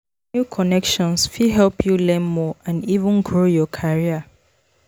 New connections fit help you learn more and even grow your career.